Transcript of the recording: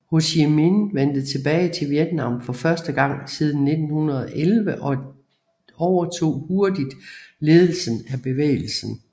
Ho Chi Minh vendte tilbage til Vietnam for første gang siden 1911 og overtog hurtigt ledelsen af bevægelsen